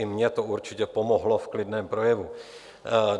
I mně to určitě pomohlo v klidném projevu.